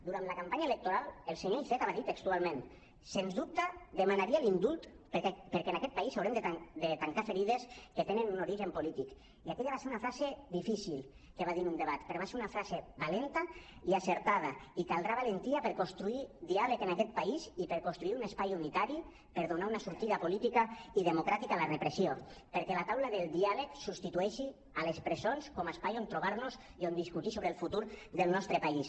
durant la campanya electoral el senyor iceta va dir textualment sens dubte demanaria l’indult perquè en aquest país haurem de tancar ferides que tenen un origen polític i aquella va ser una frase difícil que va dir en un debat però va ser una frase valenta i encertada i caldrà valentia per construir diàleg en aquest país i per construir un espai unitari per donar una sortida política i democràtica a la repressió perquè la taula del diàleg substitueixi les presons com a espai on trobar nos i on discutir sobre el futur del nostre país